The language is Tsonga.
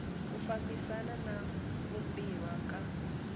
ku fambisana na vumbiwa ka